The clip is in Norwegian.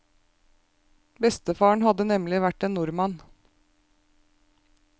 Bestefaren hadde nemlig vært en nordmann.